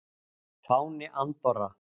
Fáni Andorra.